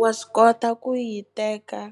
wa swi kota ku yi teka.